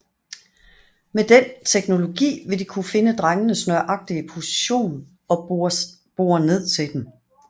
Med den teknologi ville de kunne finde drengenes nøjagtige position og bore ned til dem